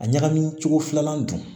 A ɲagami cogo filanan dun